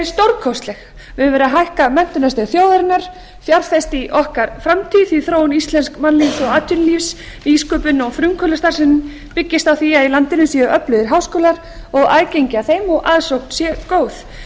stórkostleg við höfum verið að hækka menntunarstig þjóðarinnar fjárfest í okkar framtíð því þróun íslensks mannlífs og atvinnulífs nýsköpunar og frumkvöðlastarfsemi byggist á því að í landinu séu öflugir háskólar og aðgengi að þeim og aðsókn sé góð